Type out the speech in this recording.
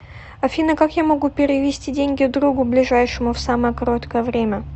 афина как я могу перевести деньги другу ближайшему в самое короткое время